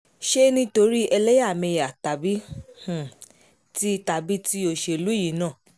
ṣé nítorí ẹlẹ́yàmẹ̀yà tàbí ti tàbí ti òṣèlú yìí náà